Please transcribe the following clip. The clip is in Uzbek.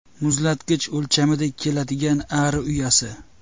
Muzlatgich o‘lchamidek keladigan ari uyasi.